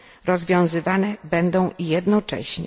rozwiązywane będą jednocześnie.